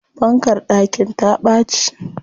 Fankar ɗakin ta ɓaci.